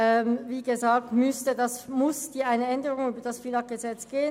Wie gesagt müsste das FILAG geändert werden.